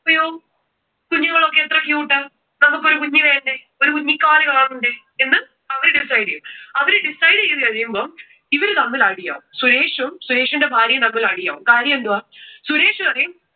അയ്യോ, കുഞ്ഞുങ്ങളൊക്കെ എത്ര cute ആണ്? നമുക്ക് ഒരു കുഞ്ഞു വേണ്ടേ? ഒരു കുഞ്ഞിക്കാൽ കാണണ്ടേ? എന്ന് അവര് decide ചെയ്യും. അവര് decide ചെയ്തു കഴിയുമ്പോ ഇവര് തമ്മിൽ അടി ആകും. സുരേഷും സുരേഷിന്റെ ഭാര്യയും തമ്മിൽ അടി ആകും. കാര്യം എന്തുവാ? സുരേഷ് പറയും